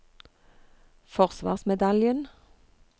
forsvarsmedaljen